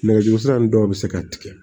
Nɛgɛjuru sira nunnu dɔw bɛ se ka tigɛ